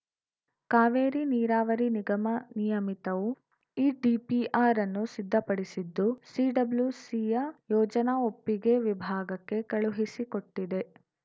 ಕಾವೇರಿ ನೀರಾವರಿ ನಿಗಮ ನಿಯಮಿತವು ಈ ಡಿಪಿಆರ್‌ ಅನ್ನು ಸಿದ್ಧಪಡಿಸಿದ್ದು ಸಿಡಬ್ಲ್ಯೂಸಿಯ ಯೋಜನಾ ಒಪ್ಪಿಗೆ ವಿಭಾಗಕ್ಕೆ ಕಳುಹಿಸಿಕೊಟ್ಟಿದೆ